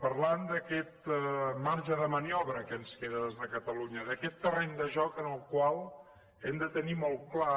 parlant d’aquest marge de maniobra que ens queda des de catalunya d’aquest terreny de joc en el qual hem de tenir molt clar